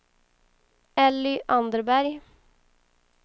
Elly Anderberg